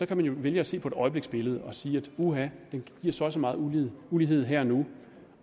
kan man jo vælge at se på et øjebliksbillede og sige uha den giver så og så meget ulighed ulighed her og nu